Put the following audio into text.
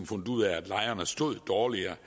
fundet ud af at lejerne blev stillet dårligere